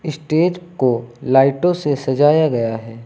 Stage को लाइटों से सजाया गया है।